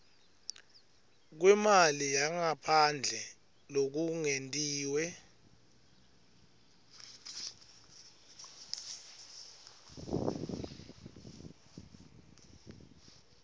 kwemali yangaphandle lokungetiwe